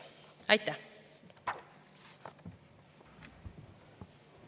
Aitäh!